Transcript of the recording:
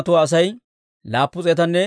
Paashihuura yaratuu 1,247;